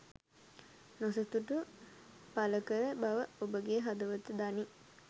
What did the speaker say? නොසතුට පලකල බව ඔබගේ හදවත දනී